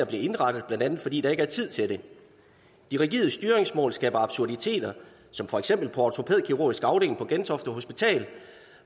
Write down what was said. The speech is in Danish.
bliver indberettet blandt andet fordi der ikke er tid til det de rigide styringsmål skaber absurditeter som for eksempel på ortopædkirurgisk afdeling på gentofte hospital